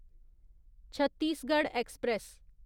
Chhattisgarh express